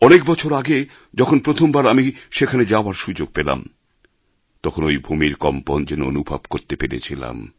অনেক বছর আগে যখন প্রথমবার আমি সেখানে যাওয়ার সুযোগ পেলাম তখন ওই ভূমির কম্পন যেন অনুভব করতে পেরেছিলাম